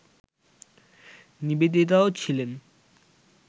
নিবেদিতাও ছিলেন